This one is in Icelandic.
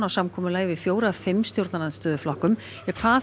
samkomulagi við fjóra af fimm stjórnarandstöðuflokkum um hvað